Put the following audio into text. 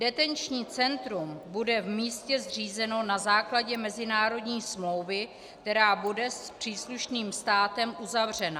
Detenční centrum bude v místě zřízeno na základě mezinárodní smlouvy, která bude s příslušným státem uzavřena.